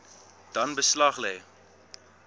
dan beslag lê